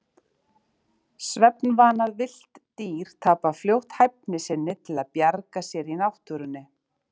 Svefnvana villt dýr tapa fljótt hæfni sinni til að bjarga sér í náttúrunni.